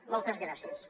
moltes gràcies